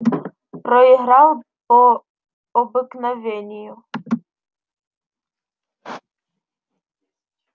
проиграл по обыкновению